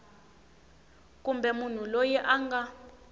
kumbe munhu loyi a nga